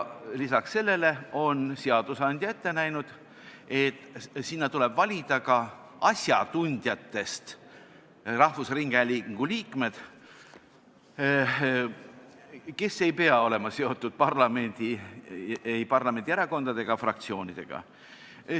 Lisaks sellele on seadusandja ette näinud, et sinna tuleb valida ka asjatundjatest rahvusringhäälingu liikmed, kes ei pea olema seotud ei parlamendi erakondade ega fraktsioonidega.